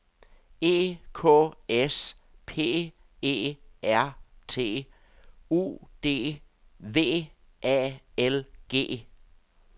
E K S P E R T U D V A L G